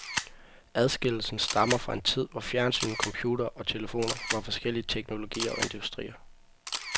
Adskillelsen stammer fra en tid, hvor fjernsyn, computere og telefoner var forskellige teknologier og industrier.